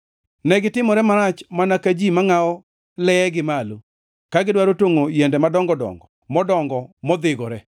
Negitimore marach mana ka ji mangʼawo leyegi malo ka gidwaro tongʼo yiende madongo dongo modongo modhigore.